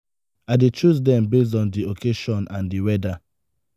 i dey choose dem base on di occasion and di weather.